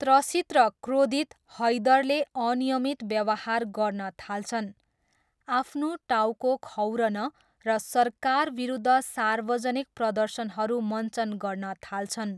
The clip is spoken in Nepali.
त्रसित र क्रोधित, हैदरले अनियमित व्यवहार गर्न थाल्छन्, आफ्नो टाउको खौरन र सरकारविरुद्ध सार्वजनिक प्रदर्शनहरू मञ्चन गर्न थाल्छन्।